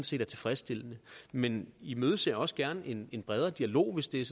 set er tilfredsstillende men imødeser også gerne en en bredere dialog hvis det er